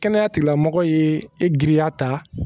Kɛnɛya tigilamɔgɔ ye e giriya ta